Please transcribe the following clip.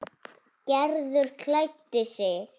Gerður klæddi sig.